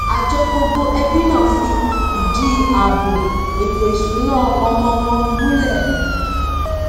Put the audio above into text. àjọ gbogbo ẹbí náà fi ìdí àbò èto ìsúná ọmọ wọn múlè